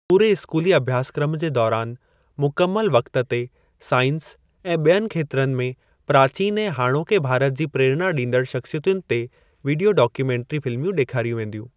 पूरे स्कूली अभ्यासक्रम जे दौरान मुकमल वक्त ते साइंस ऐं ॿियनि खेत्रनि में प्राचीन ऐं हाणोके भारत जी प्रेरणा ॾींदड़ शख्सियतुनि ते वीडियो डाक्यूमेंट्री फ़िल्मूं ॾेखारियूं वेंदियूं।